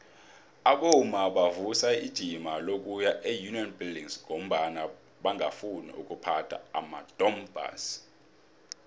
abomma bavusa ijima lokuya eunion buildings ngombana bangafuni ukuphatha amadompass